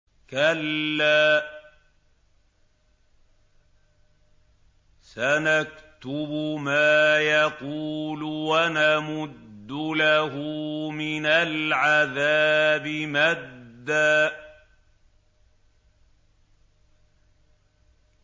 كَلَّا ۚ سَنَكْتُبُ مَا يَقُولُ وَنَمُدُّ لَهُ مِنَ الْعَذَابِ مَدًّا